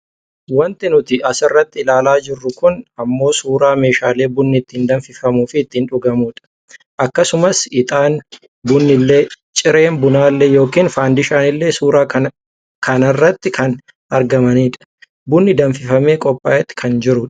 Wanti nuti asirratti ilaalaa jirru kun ammoo suuraa meeshaalee bunni ittiin danfimuufi itti dhugamudha. Akkasumas itaanni, bunnillee, cireen bunaallee yookaan faandishaanillee suuraa kanarratti kan argamanidha. Bunni danfifame qophaa'eet kan jiru dha.